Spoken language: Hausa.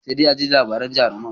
Sai dai a ji labaran jarumai.